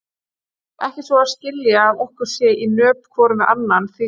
Ekki svo að skilja að okkur sé í nöp hvorum við annan, því fer fjarri.